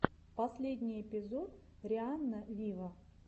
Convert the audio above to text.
последний эпизод рианна виво